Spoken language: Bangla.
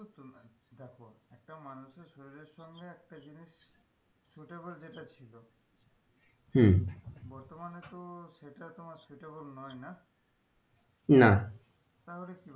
দেশ বাংলায় একটা জিনিস যেটা ছিল হম বর্তমানে তো সেটা তোমার সে নই না না তাহলে,